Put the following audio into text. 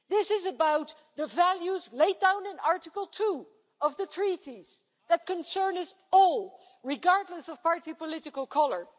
This is about the values laid down in Article 2 of the Treaties that concern us all, regardless of party political colour.